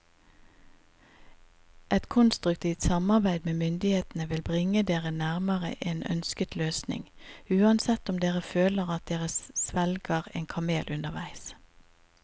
Et konstruktivt samarbeid med myndighetene vil bringe dere nærmere en ønsket løsning, uansett om dere føler at dere svelger en kamel underveis.